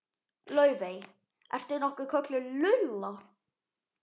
Laufey- ertu nokkuð kölluð Lulla?